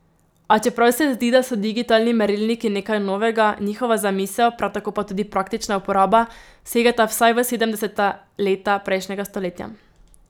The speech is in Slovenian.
A čeprav se zdi, da so digitalni merilniki nekaj novega, njihova zamisel, prav tako pa tudi praktična uporaba, segata vsaj v sedemdeseta leta prejšnjega stoletja.